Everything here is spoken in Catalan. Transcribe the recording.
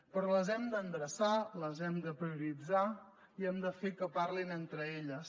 però les hem d’endreçar les hem de prioritzar i hem de fer que parlin entre elles